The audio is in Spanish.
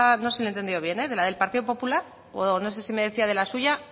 no sé si le he entendido bien de la del partido popular o no sé si me decía de la suya